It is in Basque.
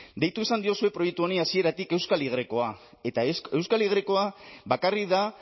deitu izan diozue proiektu honi hasieratik euskal y eta euskal y bakarrik da